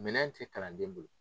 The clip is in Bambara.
Minɛn tɛ kalanden bolo